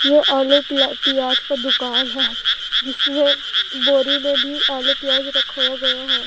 ये आलू की पिया पियाज का दुकान है। जिसमें बोरी बोरी आलू पियाज रखाया गया है।